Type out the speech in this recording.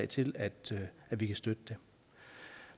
til at vi kan støtte det